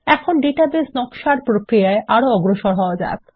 এখন ডাটাবেসের নকশার প্রক্রিয়ায় আরো অগ্রসর হওয়া যাক